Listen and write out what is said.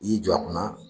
I y'i jɔ a kunna